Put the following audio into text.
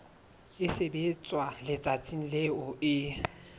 e sebetswa letsatsing leo e